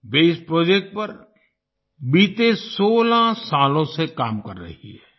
वे इस प्रोजेक्ट पर बीते 16 सालों से काम कर रही है